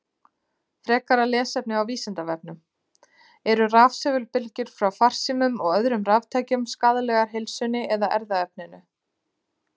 Frekara lesefni á Vísindavefnum: Eru rafsegulbylgjur frá farsímum og öðrum raftækjum skaðlegar heilsunni eða erfðaefninu?